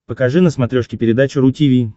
покажи на смотрешке передачу ру ти ви